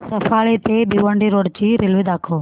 सफाळे ते भिवंडी रोड ची रेल्वे दाखव